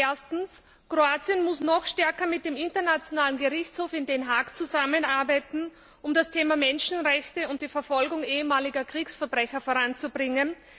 Erstens, Kroatien muss noch stärker mit dem Internationalen Gerichtshof in Den Haag zusammenarbeiten, um das Thema Menschenrechte und die Verfolgung ehemaliger Kriegsverbrecher voranzubringen.